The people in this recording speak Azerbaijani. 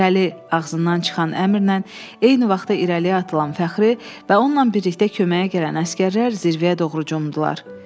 İrəli, ağzından çıxan əmrlə eyni vaxtda irəliyə atılan Fəxri və onunla birlikdə köməyə gələn əsgərlər zirvəyə doğru cumdular.